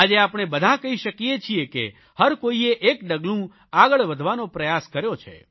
આજે આપણે બધા કહી શકીએ છીએ કે હર કોઇએ એક ડગલું આગળ વધવાનો પ્રયાસ કર્યો છે